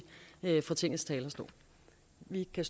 fra tingets talerstol vi kan